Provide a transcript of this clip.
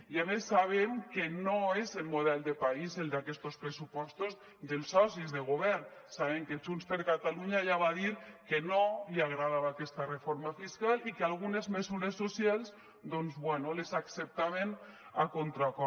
i a més sabem que no és el model de país el d’aquests pressupostos dels socis de govern sabem que junts per catalunya ja va dir que no li agradava aquesta reforma fiscal i que algunes mesures socials doncs bé les acceptaven a contracor